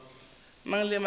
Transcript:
mang le mang a e